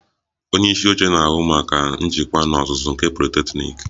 Ọnye isi oche na-ahụ maka njikwa n'ozuzu nke politeknik